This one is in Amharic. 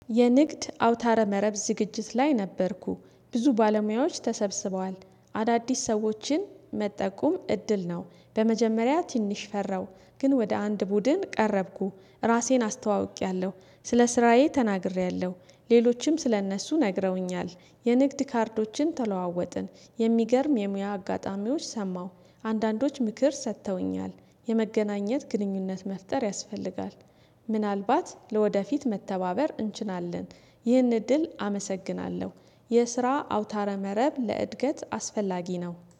የንግድ አውታረ መረብ ዝግጅት ላይ ነበርኩ ብዙ ባለሙያዎች ተሰብስበዋል አዳዲስ ሰዎችን መጠቆም እድል ነው በመጀመሪያ ትንሽ ፈራሁ ግን ወደ አንድ ቡድን ቀረብኩ ራሴን አስተዋውቄያለሁ ስለ ስራዬ ተናግሬያለሁ ሌሎችም ስለእነሱ ነግረውኛል የንግድ ካርዶችን ተለዋወጥን የሚገርም የሙያ አጋጣሚዎች ሰማሁ አንዳንዶች ምክር ሰጥተውኛል የመገናኘት ግንኙነት መፍጠር ያስፈልጋል፤ ምናልባት ለወደፊት መተባበር እንችላለን ይህን እድል አመሰግናለሁ የስራ አውታረ መረብ ለእድገት አስፈላጊ ነው።